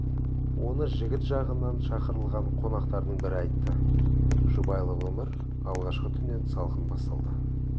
оны жігіт жағынан шақырылған қонақтардың бірі айтты жұбайлық өмір алғашқы түннен салқын басталды